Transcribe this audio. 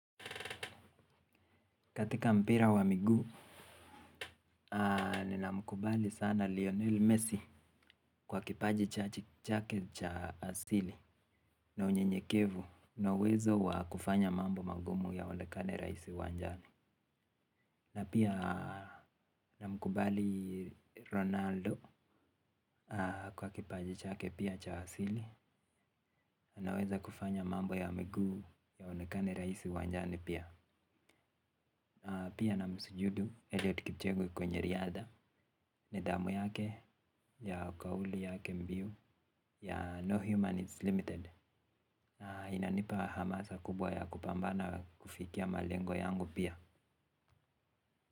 Katika mpira wa migu, nina mkubali sana Lionel Messi kwa kipaji chake cha asili na unye nyekevu na uwezo wa kufanya mambo magumu ya onekane raisi uwanjani. Na pia nina mkubali Ronaldo kwa kipaji chake pia cha asili anaweza kufanya mambo ya migu ya onekane raisi uwanjani pia. Pia na msujudu Elliud Kipchege kwenye riadha. Nidhamu yake ya ukauli ya kembiu ya No Human is Limited. Inanipa hamasa kubwa ya kupambana kufikia malengo yangu pia.